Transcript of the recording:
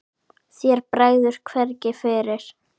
Þér bregður hvergi fyrir.